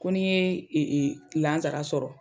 Ko n'i ye lasara sɔrɔ.